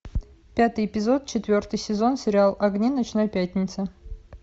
пятый эпизод четвертый сезон сериал огни ночной пятницы